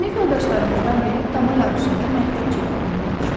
Sinif yoldaşlarımızdan biri dama yarışında məktəb çempionu olmuşdu.